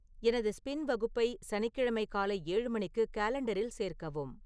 எனது ஸ்பின் வகுப்பை சனிக்கிழமை காலை ஏழு மணிக்கு காலெண்டரில் சேர்க்கவும்